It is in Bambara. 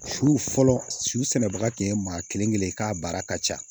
Su fɔlɔ subaga tun ye maa kelen kelen ye k'a baara ka ca